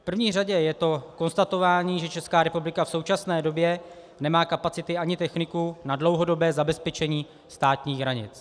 V první řadě je to konstatování, že Česká republika v současné době nemá kapacity ani techniku na dlouhodobé zabezpečení státních hranic.